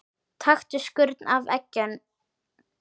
Taktu skurn af eggjum.